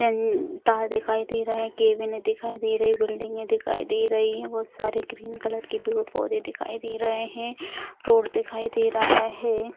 अन तार दिखाई दे रहा है कैबिने दिखाई दे रही हैं बिल्डिंगे दिखाई दे रही हैं बहुत सारे ग्रीन कलर के पेड़-पौधे दिखाई दे रहे हैं रोड दिखाई दे रहा है।